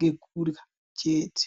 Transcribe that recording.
nekurya chete.